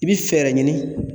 I bi fɛɛrɛ ɲini